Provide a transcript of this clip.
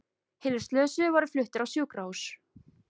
Hinir slösuðu voru fluttir á sjúkrahús